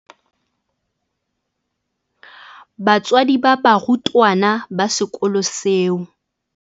Batswadi ba barutwana ba sekolo seo.